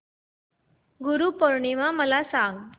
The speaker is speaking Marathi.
गुरु पौर्णिमा मला सांग